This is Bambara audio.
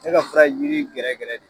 ne ka fura yiri gɛrɛgɛrɛ de